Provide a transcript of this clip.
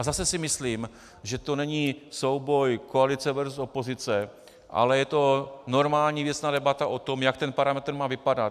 A zase si myslím, že to není souboj koalice versus opozice, ale je to normální věcná debata o tom, jak ten parametr má vypadat.